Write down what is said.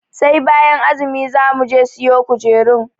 Sai bayan azumi za muje siyo kujerun.